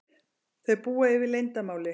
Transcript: Þau búa yfir leyndarmáli.